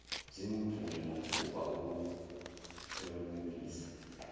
singumvuli mathuba okuhlomulisa